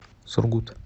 сургут